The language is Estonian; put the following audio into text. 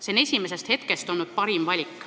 See on esimesest hetkest olnud parim valik.